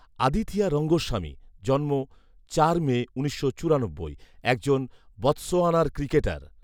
আদিথিয়া রঙ্গস্বামী জন্ম চার মে উনিশশো চুরানব্বই একজন বতসোয়ানার ক্রিকেটার